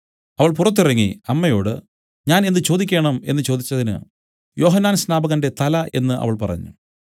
അവൾ പുറത്തിറങ്ങി അമ്മയോട് ഞാൻ എന്ത് ചോദിക്കേണം എന്നു ചോദിച്ചതിന് യോഹന്നാൻ സ്നാപകന്റെ തല എന്നു അവൾ പറഞ്ഞു